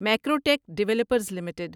Macrotech developers limited